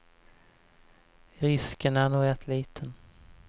Risken är nog rätt liten.